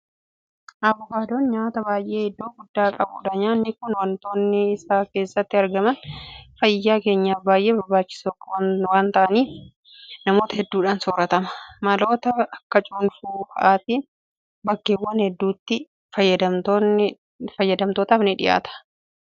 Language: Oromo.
Abukaadoon nyaata baay'ee iddoo guddaa qabudha. Nyaanni kun waantonni isa keessatti argaman fayyaa keenyaaf baay'ee barbaachisoo waanta ta'eef namoota hedduudhaan soorratama. Maloota akka cuunfuu fa'aatiin bakkeewwan hedduutti fayyadamtootaaf dhiyaata. Gatiin isaa garuu akkuma faayidaa isaa magaalota keessatti qaala'aadha.